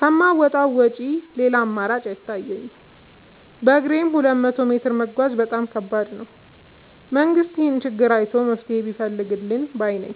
ከማውጣት ውጪ ሌላ አማራጭ አይታየኝም በግሬም ሁለት መቶ ሜትር መጓዝ በጣም ከባድ ነው። መንግስት ይህንን ችግር አይቶ መፍትሔ ቢፈልግልን ባይነኝ።